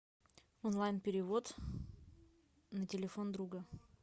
онлайн перевод на телефон друга